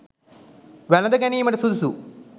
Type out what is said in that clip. වැළඳගැනීමට සුදුසු